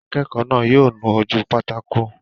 Akẹ́kọ̀ọ́ náà yóò nu ojú pátákó